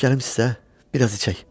Bəlkə gəlim sizə biraz içək?